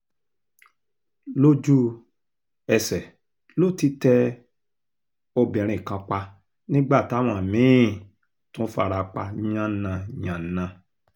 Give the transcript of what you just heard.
lójú-ẹsẹ̀ ló ti tẹ obìnrin kan pa nígbà táwọn mí-ín tún fara pa yánnayànna